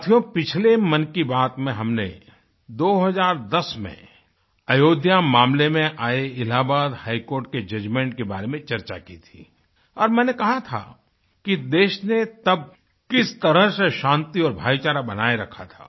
साथियो पिछले मन की बात में हमने 2010 में अयोध्या मामले में आये इलाहाबाद हाई कोर्ट के Judgementके बारे में चर्चा की थी और मैंने कहा था कि देश ने तब किस तरह से शांति और भाईचारा बनाये रखा था